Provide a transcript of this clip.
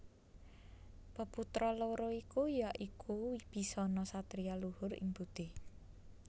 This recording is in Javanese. Peputra loro ya iku Wibisana satriya luhur ing budi